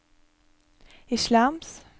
islams